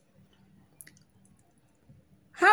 ha